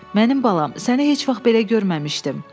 Mənim balam, səni heç vaxt belə görməmişdim.